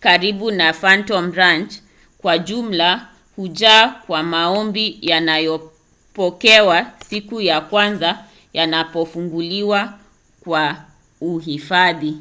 karibu na phantom ranch kwa jumla hujaa kwa maombi yanayopokewa siku ya kwanza yanapofunguliwa kwa uhifadhi